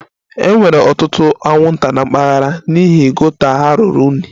E nwere ọtụtụ anwụnta na mpaghara a n'ihi gota ha ruru unyi